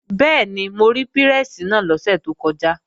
Bẹ́ẹ̀ni, mo rí pírẹ́sì náà lọ́sẹ̀ tó kọjá